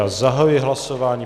Já zahajuji hlasování.